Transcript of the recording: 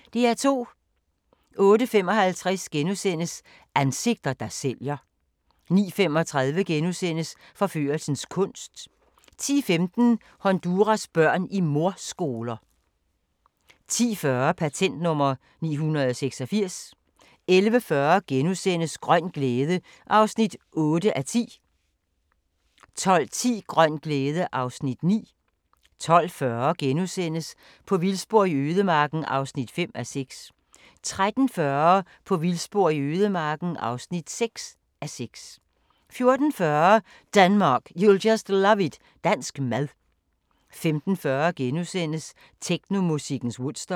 08:55: Ansigter, der sælger * 09:35: Forførelsens kunst * 10:15: Honduras børn i mordskoler 10:40: Patent nr. 986 11:40: Grøn glæde (8:10)* 12:10: Grøn glæde (Afs. 9) 12:40: På vildspor i ødemarken (5:6)* 13:40: På vildspor i ødemarken (6:6) 14:40: Denmark, you'll just love it – dansk mad 15:40: Technomusikkens Woodstock *